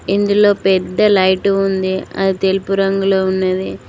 ఇందులో పెద్ద లైటు ఉంది అది తెలుపు రంగులో ఉన్నది.